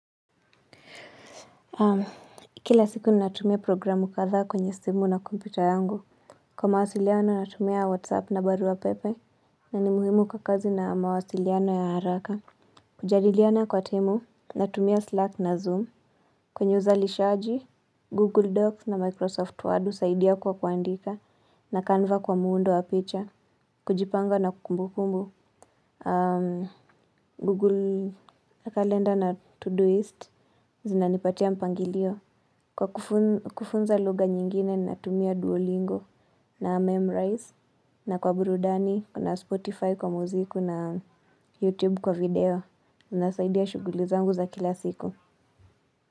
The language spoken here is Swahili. Kila siku ninatumia programu kadhaa kwenye simu na kompita yangu Kwa mawasiliano natumia whatsapp na barua pepe na ni muhimu kwa kazi na mawasiliano ya haraka kujadiliana kwa timu, natumia slack na zoom kwenye uzalishaji, google docs na microsoft word saidia kwa kuandika na canva kwa muundo wa picha kujipanga na kumbu kumbu Google calendar na to do list zinanipatia mpangilio Kwa kufun kufunza lugha nyingine, natumia Duolingo na Memrise na kwa burudani, kuna Spotify kwa muziku na YouTube kwa video Nasaidia shughuli zangu za kila siku.